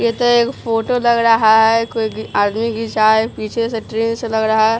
यह तो एक फोटो लग रहा है कोई आदमी गिरा है पीछे से ट्रेन से लग रहा है।